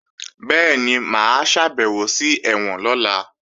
Bẹ́ẹ̀ni, mà á ṣàbẹ̀wò sí ẹ̀wọ̀n lọ́la